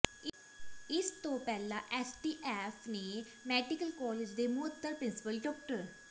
ਇਸ ਤੋਂ ਪਹਿਲਾਂ ਐੱਸਟੀਐੱਫ ਨੇ ਮੈਡੀਕਲ ਕਾਲਜ ਦੇ ਮੁਅੱਤਲ ਪ੍ਰਿੰਸੀਪਲ ਡਾ